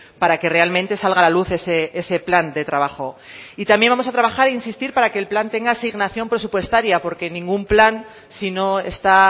para que realmente salga a la luz ese plan de trabajo y también vamos a trabajar e insistir para que el plan tenga asignación presupuestaria porque ningún plan si no está